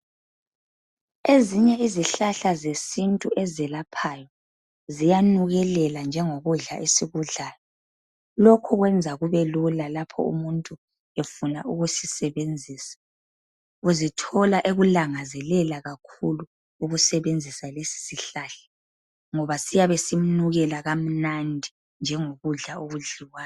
Ezinye izihlahla zesintu ezelaphayo ziyanukelela njengokudla esikudlayo. Lokhu kwenza kubelula lapho umuntu efuna ukusisebenzisa. Uzithola ekulangazelela kakhulu ukusebenzisa lesisihlahla ngoba siyabe simnukela kamnandi njengokudla okudliwayo.